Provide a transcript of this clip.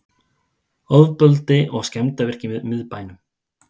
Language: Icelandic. Ofbeldi og skemmdarverk í miðbænum